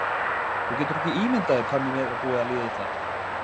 Þú getur ekki ímyndað þér hvað mér er búið að líða illa!